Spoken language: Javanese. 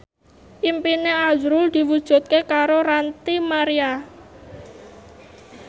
impine azrul diwujudke karo Ranty Maria